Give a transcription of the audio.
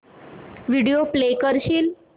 video play करशील